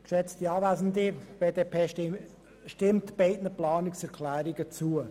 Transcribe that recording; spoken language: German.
Die BDP stimmt beiden Planungserklärungen zu.